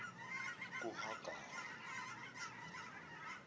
kuhagari